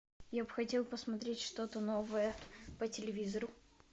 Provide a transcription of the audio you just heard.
я бы хотел посмотреть что то новое по телевизору